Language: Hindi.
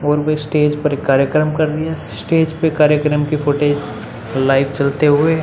और वो स्टेज पर कार्यक्रम कर रही है स्टेज पे कार्यक्रम के फुटेज लाइव चलते हुए।